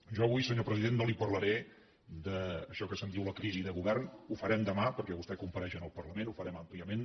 jo avui senyor president no li parlaré d’això que se’n diu la crisi de govern ho farem demà perquè vostè compareix en el parlament ho farem àmpliament